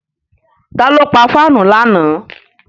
Ta ló pa fáànù lánàá?